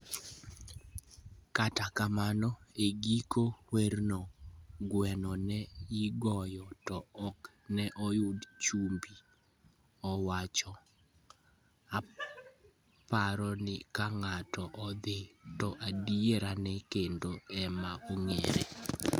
Kata kamano, e giko werno, gweno ne igoyo to ok ne oyud chumbi, owacho. "Aparo ni ka ng'ato odhi, to adierane kende ema ong'ere.